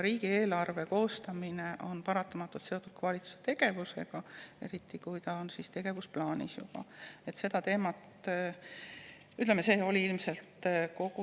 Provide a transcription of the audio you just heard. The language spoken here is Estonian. Riigieelarve koostamine on paratamatult seotud ka valitsuse tegevusega, eriti kui see on tegevusplaanis.